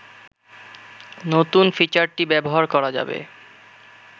নতুন ফিচারটি ব্যবহার করা যাবে